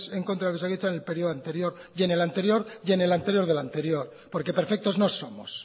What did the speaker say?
en contra de osakidetza en el período anterior y en el anterior y en el anterior del anterior porque perfectos no somos